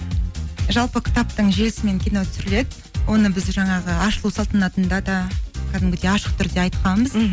жалпы кітаптың желісімен кино түсіріледі оны біз жаңағы ашылу салтанатында да кәдімгідей ашық түрде айтқанбыз мхм